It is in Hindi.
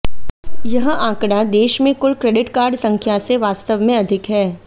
यह आंकड़ा देश में कुल क्रेडिट कार्ड संख्या से वास्तव में अधिक है